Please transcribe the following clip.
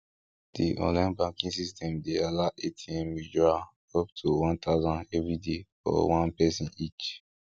di online banking system dey allow atm withdrawal up to one thousand every day for one person each